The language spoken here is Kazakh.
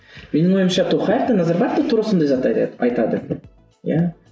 менің ойымша тоқаев та назарбаев та тура осындай затты айтады айтады иә